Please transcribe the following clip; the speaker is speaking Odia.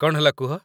କ'ଣ ହେଲା କୁହ